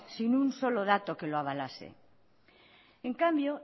sin un solo dato que lo avalase en cambio